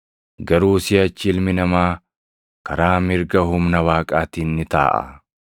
Garuu siʼachi Ilmi Namaa karaa mirga humna Waaqaatiin ni taaʼa.”